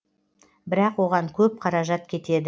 бірақ оған көп қаражат кетеді